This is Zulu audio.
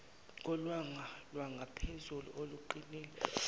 kolwanga lwangaphezulu oluqinile